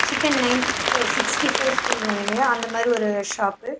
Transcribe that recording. Chicken ninety five sixty five சொல்லுவோங்கில்லயா அந்த மாறி ஒரு ஷாப் .